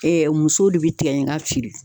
Ɛɛɛ musow de bi tigɛ ɲaga feere